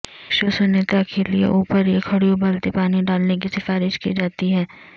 وشوسنییتا کے لئے اوپر یہ کھڑی ابلتے پانی ڈالنے کی سفارش کی جاتی ہے